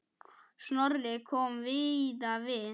Snorri kom víða við.